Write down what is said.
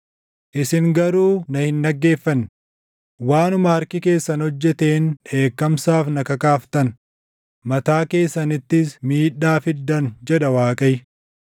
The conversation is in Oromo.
“Isin garuu na hin dhaggeeffanne; waanuma harki keessan hojjeteen dheekkamsaaf na kakaaftan; mataa keessanittis miidhaa fiddan” jedha Waaqayyo.